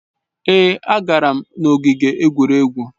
Èé, agara m n'ogige egwuregwu.